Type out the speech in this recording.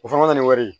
O fana na ni wari ye